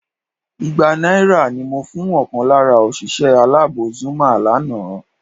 Igba náírà ni mo fún ọ̀kan lára òṣìṣẹ́ aláàbò Zuma lánàá